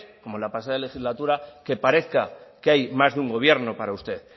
como la pasada legislatura que parezca que hay más de un gobierno para usted